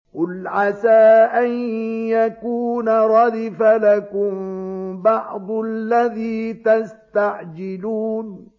قُلْ عَسَىٰ أَن يَكُونَ رَدِفَ لَكُم بَعْضُ الَّذِي تَسْتَعْجِلُونَ